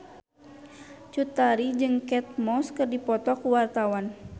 Cut Tari jeung Kate Moss keur dipoto ku wartawan